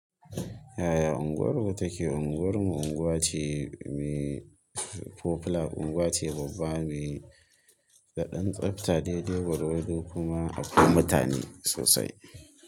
Yaya unguwarku take? Unguwar mu unguwa ce me popular unguwa ce babba me daɗan tsafta, daidai gwargwado kuma akwai mutane sosai.